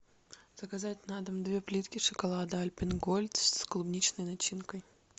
заказать на дом две плитки шоколада альпен гольд с клубничной начинкой